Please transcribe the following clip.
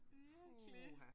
Virkelig